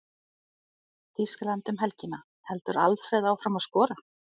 Þýskaland um helgina- Heldur Alfreð áfram að skora?